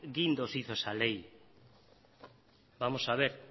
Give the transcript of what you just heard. guindos hizo esa ley vamos a ver